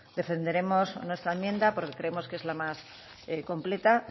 defenderemos nuestra enmienda porque creemos que es la más completa